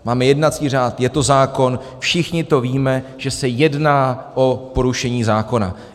Máme jednací řád, je to zákon, všichni to víme, že se jedná o porušení zákona.